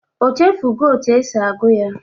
O chefugo otu esi agụ ya?